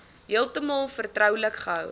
heeltemal vertroulik gehou